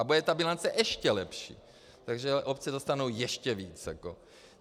A bude ta bilance ještě lepší, takže obce dostanou ještě více.